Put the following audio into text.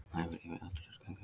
Æfir yfir altarisgöngu hunds